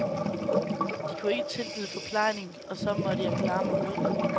De kunne ikke tilbyde forplejning, og så måtte jeg klare mig uden.